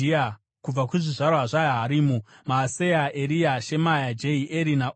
Kubva kuzvizvarwa zvaHarimu: Maaseya, Eria, Shemaya, Jehieri naUzia.